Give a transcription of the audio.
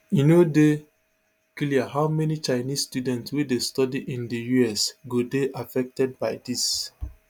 e no dey clear how many chinese students wey dey study in di us go dey affected by dis